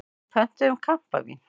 Við pöntuðum kampavín.